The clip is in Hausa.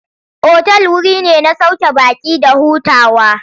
Otal wuri ne na sauke baƙi da hutawa.